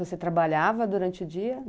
Você trabalhava durante o dia?